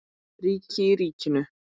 Ríki í ríkinu?